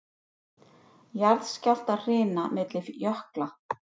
Jarðskjálftahrina milli jökla